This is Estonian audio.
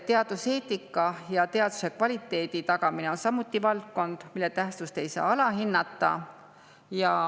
Teaduseetika ja teaduse kvaliteedi tagamine on samuti valdkond, mille tähtsust ei saa alahinnata.